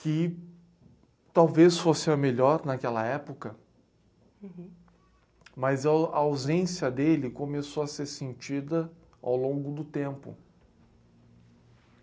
que talvez fosse a melhor naquela época, mas a o, a ausência dele começou a ser sentida ao longo do tempo.